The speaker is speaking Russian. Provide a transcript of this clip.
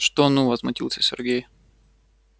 что ну возмутился сергей